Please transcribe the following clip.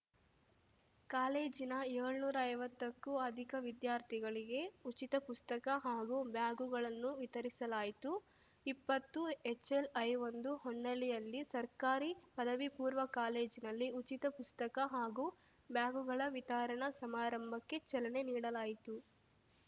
ಕಾಲೇಜಿನ ಏಳ್ನೂರಾ ಐವತ್ತಕ್ಕೂ ಅಧಿಕ ವಿದ್ಯಾರ್ಥಿಗಳಿಗೆ ಉಚಿತ ಪುಸ್ತಕ ಹಾಗೂ ಬ್ಯಾಗುಗಳನ್ನು ವಿತರಿಸಲಾಯಿತು ಇಪ್ಪತ್ತುಎಚ್ಎಲ್‌ಐಒಂದು ಹೊನ್ನಾಳಿಯಲ್ಲಿ ಸರ್ಕಾರಿ ಪದವಿಪೂರ್ವ ಕಾಲೇಜಿನಲ್ಲಿ ಉಚಿತ ಪುಸ್ತಕ ಹಾಗೂ ಬ್ಯಾಗುಗಳ ವಿತರಣಾ ಸಮಾರಂಭಕ್ಕೆ ಚಲನೆ ನೀಡಲಾಯಿತು